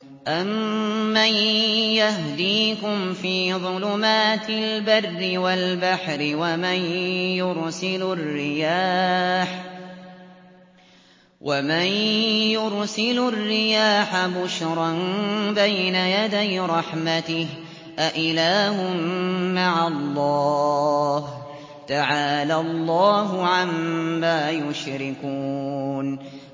أَمَّن يَهْدِيكُمْ فِي ظُلُمَاتِ الْبَرِّ وَالْبَحْرِ وَمَن يُرْسِلُ الرِّيَاحَ بُشْرًا بَيْنَ يَدَيْ رَحْمَتِهِ ۗ أَإِلَٰهٌ مَّعَ اللَّهِ ۚ تَعَالَى اللَّهُ عَمَّا يُشْرِكُونَ